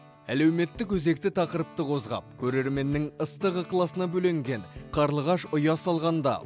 әлеуметтік өзекті тақырыпты қозғап көрерменнің ыстық ықыласына бөленген қарлығаш ұя салғанда